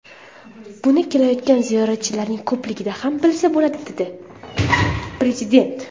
Buni kelayotgan ziyoratchilarning ko‘pligidan ham bilsa bo‘ladi”, dedi Prezident.